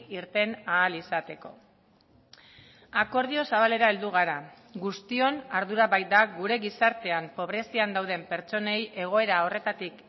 irten ahal izateko akordio zabalera heldu gara guztion ardura baita gure gizartean pobrezian dauden pertsonei egoera horretatik